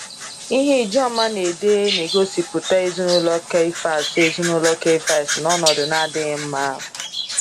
Ihe Ijoma na-ede n'egosipụta ezinụlọ Caiaphas ezinụlọ Caiaphas n’ọnọdụ na-adịghị mma.